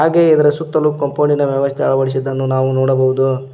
ಹಾಗೆ ಇದರ ಸುತ್ತಲೂ ಕಂಪೌಂಡಿ ನ ವ್ಯವಸ್ಥೆ ಅಳವಡಿಸಿದ್ದನ್ನ ನಾವು ನೋಡಬಹುದು.